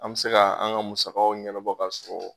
An bɛ se ka an ŋa musakaw ɲɛnabɔ kasɔrɔ